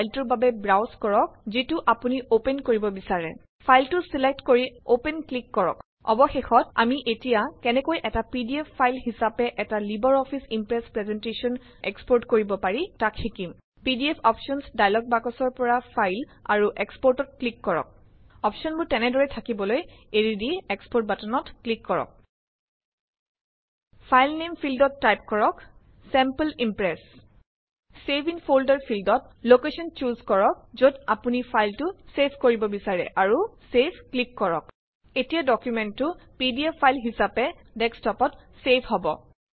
ফাইলটোৰ বাবে ব্ৰাউজ কৰক যিটো আপুনি অপেন কৰিব বিচাৰে। ফাইলটো চিলেক্ট কৰি অপেন ক্লিক কৰক। অৱশেষত আমি এতিয়া কেনেকৈ এটা পিডিএফ ফাইল হিচাবে এটা LibreOffice Impress presentation export কৰিব পাৰি তাক শিকিম। পিডিএফ অপচনচ ডাইলগ বক্সৰ পৰা ফাইল আৰু Exportত ক্লিক কৰক অপচনবোৰ তেনেদৰেই থাকিবলৈ এৰি দি এক্সপোৰ্ট বাটনত ক্লিক কৰক। ফাইল নেম ফিল্ডত টাইপ কৰক sample Impress. Save in folder ফ্লিল্ডত লকেচন বাচি লৈ যত আপুনি ফাইলটো চেভ কৰিব বিচাৰে আৰু চেভত ক্লিক কৰক। এতিয়া ডকুমেন্টটো পিডিএফ ফাইল হিচাবে ডেক্সটপত চেভ হব